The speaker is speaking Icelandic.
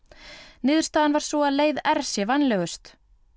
niðurstaðan var sú að leið r sé vænlegust